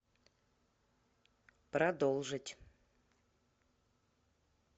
продолжить